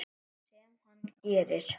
Sem hann gerir.